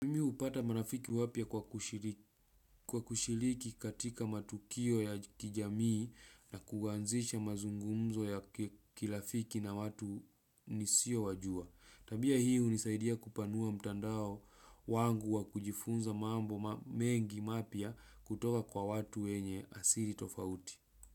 Upata marafiki wapya kwa kushiliki katika matukio ya kijamii na kuanzisha mazungumzo ya kirafiki na watu, nisio wajua. Tabia hii unisaidia kupanua mtandao, wangu wa kujifunza mambo mengi mapya kutoka kwa watu wenye asiri tofauti.